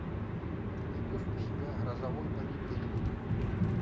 ты найдешь у себя грозовой понедельник